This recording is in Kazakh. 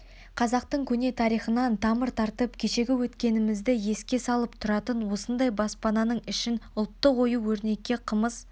қазақтың көне тарихынан тамыр тартып кешегі өткенімізді еске салып тұратын осындай баспананың ішін ұлттық ою-өрнекке қымыз